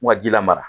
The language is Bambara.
U ka ji la mara